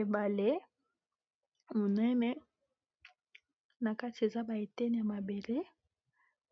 ebale monene na kati eza baetene ya mabele